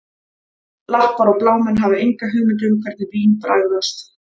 Lappar og blámenn hafa enga hugmynd um hvernig vín bragðast